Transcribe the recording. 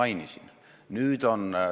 Istung on lõppenud.